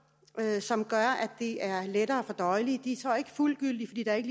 som er lettere fordøjelige de er så ikke fuldgyldige fordi der ikke